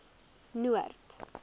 noord